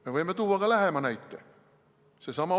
Me võime tuua näite ka lähemalt.